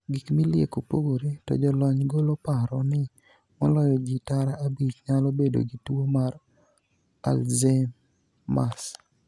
Gik milieko pogore, to jolony golo paro ni moloyo jii tara abich nyalo bedo gi tuo mar 'Alzheimers'.